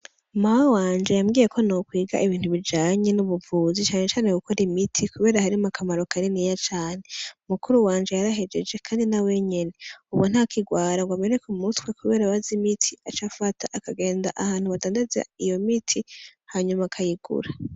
Mawe wanje yambwiye ko nokwiga ibintu bijanye n'ubuvuzi cane cane gukora imiti kubera harimwo akamaro kaniniya cane. Mukuru wanje yarahejeje kandi nawe nyene ubu ntakirwara ngo ameneke umutwe kubera aba azi imiti aca afata akagenda ahantu badandaza iyo imiti hanyuma akayigura.